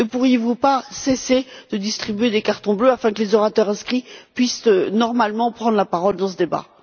Ne pourriez vous pas cesser de distribuer des cartons bleus afin que les orateurs inscrits puissent normalement prendre la parole dans ce débat?